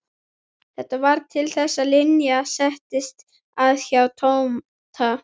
Þetta varð til þess að Linja settist að hjá Tóta.